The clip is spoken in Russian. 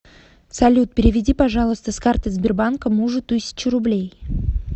салют переведи пожалуйста с карты сбербанка мужу тысячу рублей